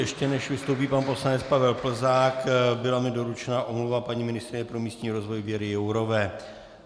Ještě než vystoupí pan poslanec Pavel Plzák, byla mi doručena omluva paní ministryně pro místní rozvoj Věry Jourové.